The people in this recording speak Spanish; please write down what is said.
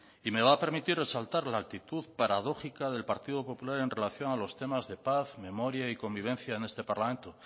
y me va permitir resaltar la actitud paradójica del partido popular en relación a los temas de paz memoria y convivencia en este parlamento